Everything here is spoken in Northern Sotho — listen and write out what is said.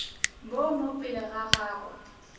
bo mo pele ga gagwe